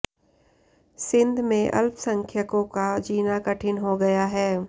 सिंध में अल्पसंख्यकों का जीना कठिन हो गया है